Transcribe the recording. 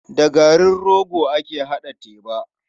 Da garin rogo ake haɗa teba.